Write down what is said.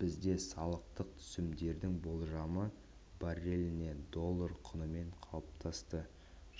бізде салықтық түсімдердің болжамы барреліне доллар құнымен қалыптасты